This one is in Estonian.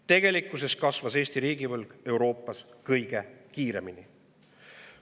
Tegelikkuses kasvas Eesti riigivõlg Euroopas kõige kiiremini.